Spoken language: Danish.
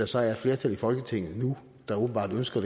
så er et flertal i folketinget der åbenbart ønsker